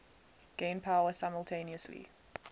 gain power simultaneously